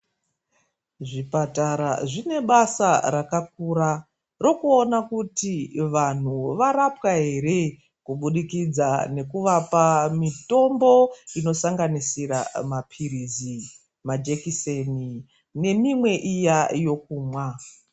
Zvipatara zvine basa rakakura rokuona kuti vanhu varapwa ere kubudikidza nekuvapa mitombo inosanganisira mapirizi majekiseni nemimwe iya yokumwa.